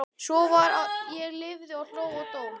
Svo var ég lifði ég hló ég dó